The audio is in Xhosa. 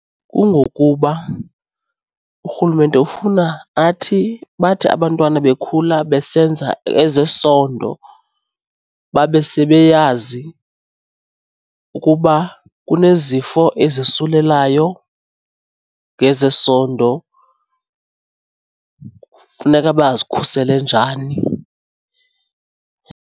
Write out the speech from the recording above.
Kungokuba urhulumente ufuna athi bathi abantwana bekhula besenza ezesondo, babe sebeyazi ukuba kunezifo ezisulelayo ngezesondo, kufuneka bazikhusele njani.